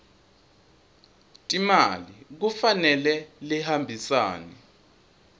timali kufanele lihambisane